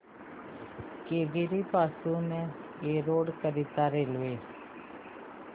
केंगेरी पासून एरोड करीता रेल्वे